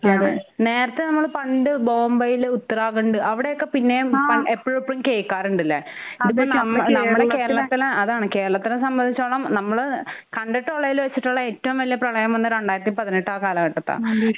അതെ നേരത്തെ നമ്മള് പണ്ട് ബോംബയില് ഉത്തരാഘണ്ട് അവിടെയൊക്കെ പിന്നേം എപ്പഴെപ്പഴും കേൾക്കാറുണ്ട്ല്ലേ? ആഹ്. നമ്മടെ കേരളത്തിലാ അതാണ് കേരളത്തിനെ സംബന്ധിച്ചിടത്തോളം നമ്മള് കണ്ടിട്ടുള്ളതില് വെചിട്ടുള്ള ഏറ്റവും വലിയ പ്രളയം വന്നത് രണ്ടായിരത്തി പതിനെട്ട് ആ കാലഘട്ടത്താണ്.